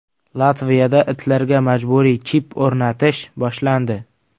Latviyada itlarga majburiy chip o‘rnatish boshlandi.